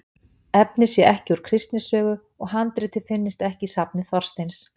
Efnið sé ekki úr Kristni sögu, og handritið finnist ekki í safni Þorsteins